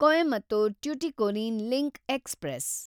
Coimbatore Tuticorin link express